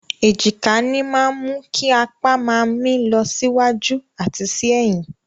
Èjìká ní máa mú kí apá máa mì lọ sí wájú àti sí ẹ̀yìn.